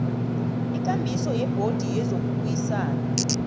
ikambiso yebhodi yezokubuyisana